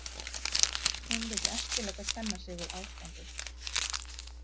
Hún vill ekki láta kenna sig við ástandið.